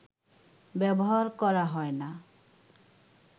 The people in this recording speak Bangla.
ব্যবহার করা হয় না